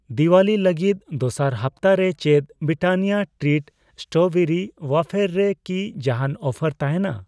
ᱫᱤᱣᱟᱞᱤ ᱞᱟᱹᱜᱤᱛ ᱫᱚᱥᱟᱨ ᱦᱟᱯᱛᱟ ᱨᱮ ᱪᱮᱫ ᱵᱨᱤᱴᱟᱱᱤᱭᱟ ᱴᱨᱤᱴ ᱥᱴᱨᱚᱵᱮᱨᱤ ᱣᱭᱮᱯᱷᱟᱨ ᱨᱮ ᱠᱤ ᱡᱟᱦᱟᱸᱱ ᱚᱯᱷᱟᱨ ᱛᱟᱦᱮᱸᱱᱟ ?